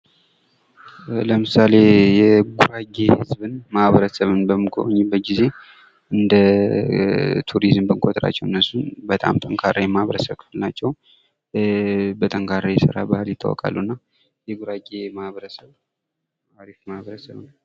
ለምሳሌ የጉራጌ ህዝብን ማህበረሰብን በምንጎበኝበት ጊዜ እንደ ቱሪዝም አድራጊ ናቸው:: በጣም ጠንካራ ማህበረሰብ ክፍል ናቸው:: በጠንካራ የስራ ባህል ይታወቃሉ እና የጉራጌ ማህበረሰብ አሪፍ ማህበረሰብ ነው::